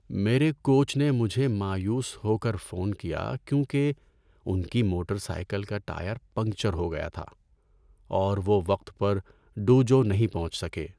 میرے کوچ نے مجھے مایوس ہو کر فون کیا کیونکہ ان کی موٹر سائیکل کا ٹائر پنکچر ہو گیا تھا اور وہ وقت پر ڈوجو نہیں پہنچ سکے۔